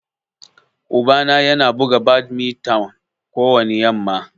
Uba na Yana buga badminton kowani yamma.